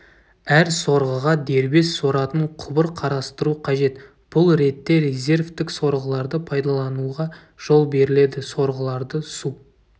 әр сорғыға дербес соратын құбыр қарастыру қажет бұл ретте резервтік сорғыларды пайдалануға жол беріледі сорғыларды су